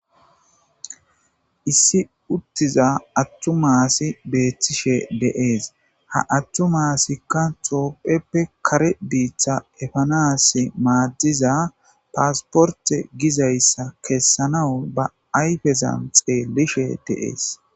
Issi uttiza attuma asi beettishe de7ees. Ha attuma asikka xoo7eppe kare biitta epanaas maaddiza paasporte kessanaw ba ayfezan xeellishe de7ees.